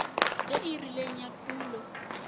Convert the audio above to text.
e e rileng ya tulo